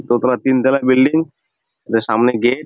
দোতালা তিনতালা বিল্ডিং তার সামনে গেট ।